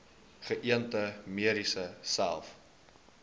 geënte merries selfs